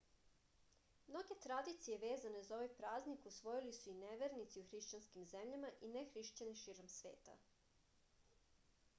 mnoge tradicije vezane za ovaj praznik usvojili su i nevernici u hrišćanskim zemljama i nehrišćani širom sveta